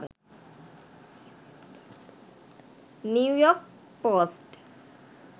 new york post